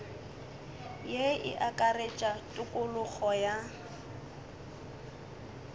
ye e akaretša tokologo ya